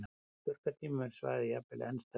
Á þurrkatímum er svæðið jafnvel enn stærra.